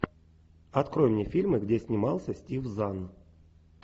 открой мне фильмы где снимался стив зан